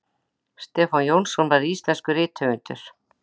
stefán jónsson var íslenskur rithöfundur